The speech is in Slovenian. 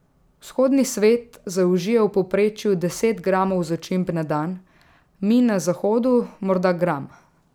Vzhodni svet zaužije v povprečju deset gramov začimb na dan, mi na zahodu morda gram.